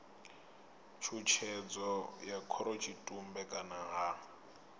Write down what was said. tshutshedzo ya khorotshitumbe kana ha